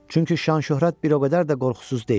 Çünki şan-şöhrət bir o qədər də qorxusuz deyil.